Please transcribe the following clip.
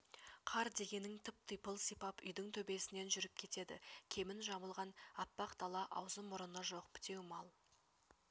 қар дегенің тып-типыл сипап үйдің төбесінен жүріп кетеді кебін жамылған әппақ дала аузы-мұрыны жоқ бітеу мал